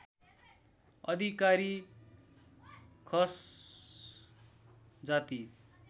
अधिकारी खस जाति